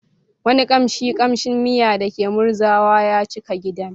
Wani kamshin kamshin miya da ke murzawa ya cika gidan.